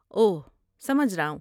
اوہ، سمجھ رہا ہوں۔